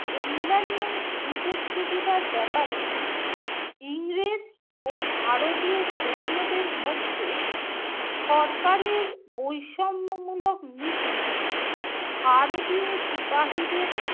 অন্যান্য সুযোগ-সুবিধার ব্যাপারে ইংরেজ ও ভারতীয় সৈন্যদের মধ্যে সরকারের বৈষম্যমূলক নীতি ভারতীয় সিপাহিদের